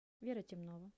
вера темнова